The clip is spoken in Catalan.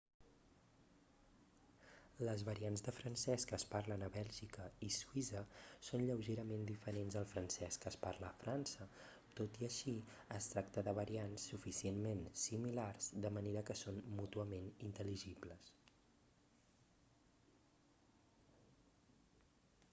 les variants de francès que es parlen a bèlgica i suïssa són lleugerament diferents al francès que es parla a frança tot i així es tracta de variants suficientment similars de manera que són mútuament intel·ligibles